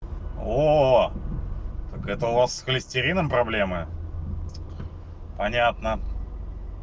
о так это у вас холестерином проблемы понятно